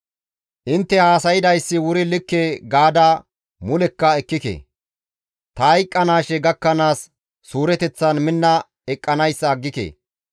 Intte haasaydayssi wuri likke gaada mulekka ekkike; ta hayqqanaashe gakkanaas suureteththan minna eqqanayssa aggike.